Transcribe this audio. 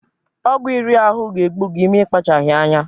Ọgwụ iri ahụ ga-egbu gi ma ịkpachaghị anya.